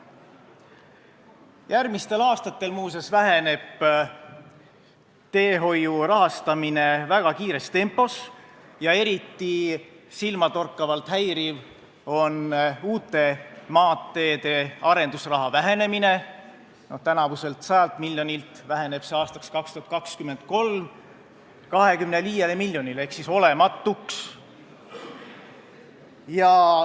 Järgmistel aastatel muuseas väheneb teehoiu rahastamine väga kiires tempos ja eriti silmatorkavalt häiriv on uute maanteede arenduse summade vähenemine: tänavuselt 100 miljonilt väheneb see aastaks 2023 vaid 25 miljonini ehk siis pea olematuks.